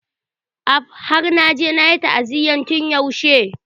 Af! Har naje nayi ta'aziyya tun yaushe.